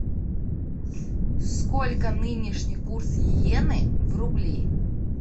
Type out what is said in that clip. сколько нынешний курс йены в рубли